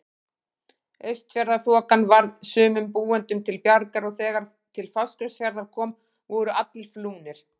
Austfjarðaþokan varð sumum búendum til bjargar og þegar til Fáskrúðsfjarðar kom voru allir flúnir.